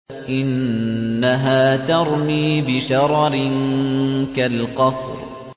إِنَّهَا تَرْمِي بِشَرَرٍ كَالْقَصْرِ